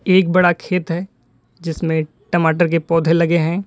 एक बड़ा खेत है जिसमें टमाटर के पौधे लगे हैं।